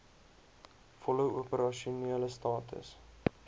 volle opersasionele status